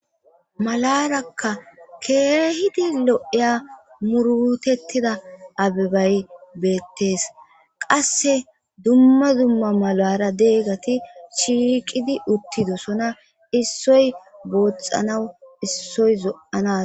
Maalaraka kehidi lo'ya muuruttetida abbebay bettes qasse dumma dumma maalara deiiyageti shiiqqidi uttidossona issoy booxxanawu issoy zo'oana....